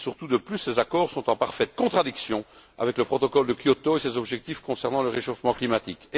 De plus, ces accords sont surtout en parfaite contradiction avec le protocole de Kyoto et ses objectifs concernant le réchauffement climatique.